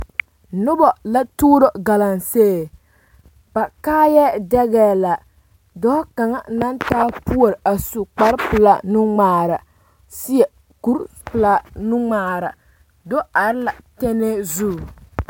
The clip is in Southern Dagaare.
Noba la tuuro galamsee ba kaayɛ dɛgɛɛ la dɔɔ kaŋa naŋ taa puoriŋ a su kpar pelaa nuŋmaara seɛ kuri pelaa nuŋmaara do are la tɛnɛɛ zu